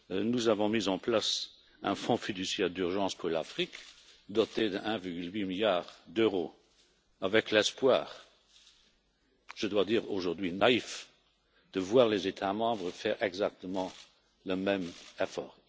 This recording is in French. Nous avons mis en place un Fonds fiduciaire d'urgence pour l'Afrique, doté de 1,8 milliard d'euros, avec l'espoir je dois dire aujourd'hui naïf de voir les États membres faire exactement le même effort.